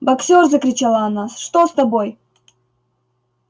боксёр закричала она что с тобой